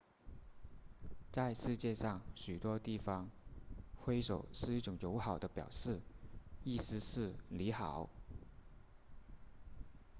在世界上许多地方挥手是一种友好的表示意思是你好